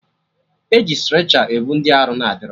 E ji strecha ebu ndị arụ adịrọ